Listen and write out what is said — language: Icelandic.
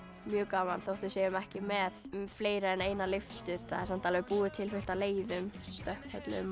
mjög gaman þótt við séum ekki með fleiri en eina lyftu það er samt búið til fullt af leiðum